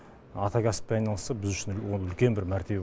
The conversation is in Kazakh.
ата кәсіппен айналысса біз үшін ол үлкен бір мәртебе